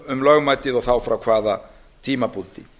um lögmætið og þá frá hvaða tímapunkti